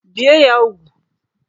Bie ya úgwù!